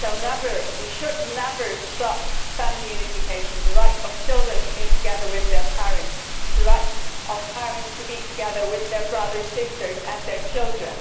We should never stop family unification the right of children to be together with their parents, the right of parents to be together with their brothers, sisters and their children.